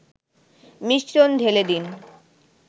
মিশ্রণ ঢেলে দিন